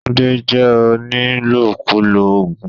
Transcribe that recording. Tunde jẹ́ onílòkulò oògùn.